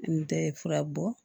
N tɛ fura bɔ